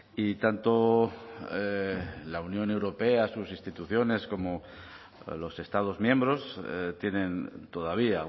y tanto la unión europea sus instituciones como los estados miembros tienen todavía